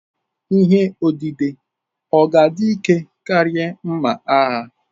Ihe odide ọ̀ ga-adị ike karịa mma agha?